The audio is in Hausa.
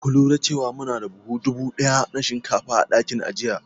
Ka lura da cewa muna da buhun dubu ɗaya na shinkafa a dakin ajiya?